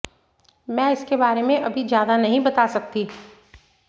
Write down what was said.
मैं इसके बारे में अभी ज्यादा नहीं बता सकती